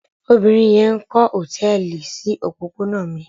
Obìnrin yẹn ń kọ́ hòtẹ́ẹ́lì sí òpópónà mi.